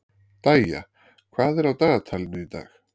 Dæja, hvað er á dagatalinu í dag?